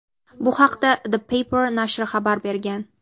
Bu haqda "The Paper" nashri xabar bergan.